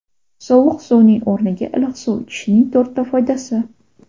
Sovuq suvning o‘rniga iliq suv ichishning to‘rtta foydasi.